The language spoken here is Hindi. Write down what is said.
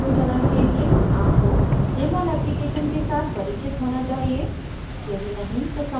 इस tutorial के अनुसरण के लिए आपको jmol application के साथ परिचित होना चाहिए